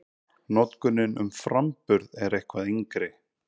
Notkunin um framburð er eitthvað yngri.